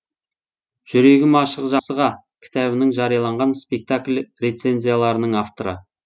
жүрегім ашық жақсыға кітабының жарияланған спектакль рецензияларының авторы